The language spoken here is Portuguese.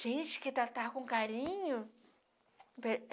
Gente que tratava com carinho.